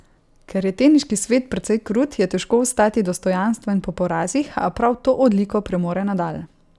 Ker je teniški svet precej krut, je težko ostati dostojanstven po porazih, a prav to odliko premore Nadal.